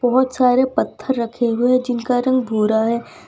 बहोत सारे पत्थर रखे हुए जिनका रंग भूरा है।